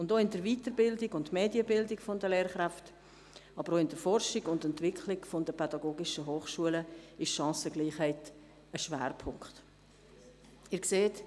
In der Weiterbildung und der Medienbildung der Lehrkräfte, aber auch in der Forschung und Entwicklung der PH stellt Chancengleichheit einen Schwerpunkt dar.